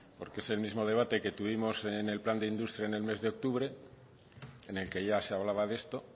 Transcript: porque es el mismo debate que tuvimos en el plan de industria en el mes de octubre en el que ya se hablaba de esto